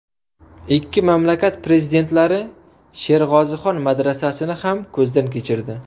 Ikki mamlakat prezidentlari Sherg‘ozixon madrasasini ham ko‘zdan kechirdi.